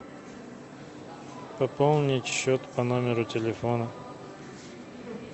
пополнить счет по номеру телефона